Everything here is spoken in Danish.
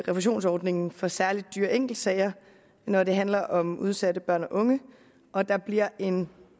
refusionsordningen for særlig dyre enkeltsager når det handler om udsatte børn og unge og der bliver en